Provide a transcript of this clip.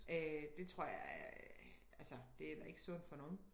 Øh det tror jeg er altså det er da ikke sundt for nogen